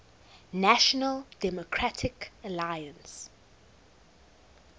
national democratic alliance